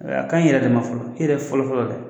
A ka ɲi i yɛrɛ de ma fɔlɔ e yɛrɛ fɔlɔ-fɔlɔ dɛ